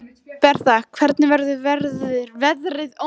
Bertha, hvernig verður veðrið á morgun?